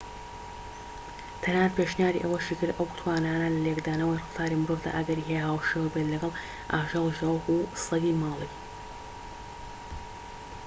تەنانەت پێشنیاری ئەوەشی کرد ئەو توانایانە لە لێکدانەوەی ڕەفتاری مرۆڤدا ئەگەری هەیە هاوشێوە بێت لەگەڵ ئاژەڵیشدا وەکو سەگی ماڵی